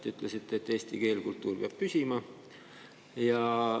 Te ütlesite, et eesti keel ja kultuur peab püsima.